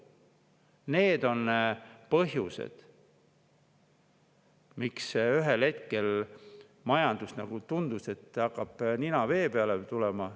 Need on põhjused, miks ühel hetkel tundus majanduses, et nina hakkab vee peale tulema.